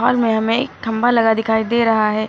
में हमें खंबा लगा दिखाई दे रहा है।